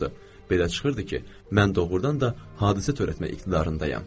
Belə çıxırdı ki, mən doğrudan da hadisə törətmək iqtidarındayam.